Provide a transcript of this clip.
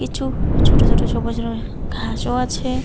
কিছু ছোট ছোট সবুজ রঙের ঘাসও আছে।